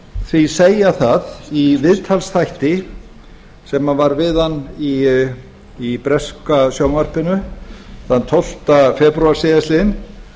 því segja það í viðtalsþætti sem var við hann í breska sjónvarpinu þann tólfta febrúar síðastliðinn